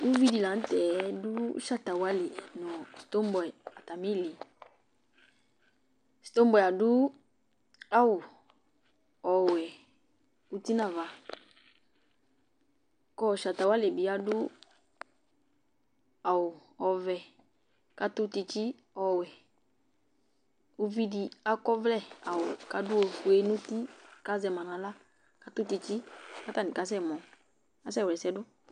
ʊvɩ dɩ lanʊtɛ dʊ Shatawalɩ nʊ Stobɔyɩ atamɩ ɩlɩ Stobɔyɩ adʊ awʊ ɔwɛ ʊtɩ nava kʊ Shatawalɩ bɩ adʊ awʊ ovɛ katʊ tsɩtsɩ ɔwɛ Ʊvɩ dɩ akɔ ɔvlɛ kadʊ awʊ ofʊe nʊtɩ kazɛma nawla katanɩ kasɛmɔ kaka wlɛsɛdʊ